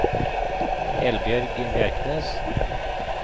Eldbjørg Bjerknes